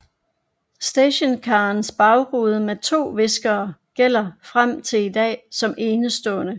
Stationcarversionens bagrude med to viskere gælder frem til i dag som enestående